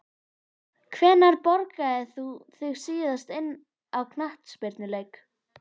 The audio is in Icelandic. Hvenær borgaðir þú þig síðast inn á knattspyrnuleik?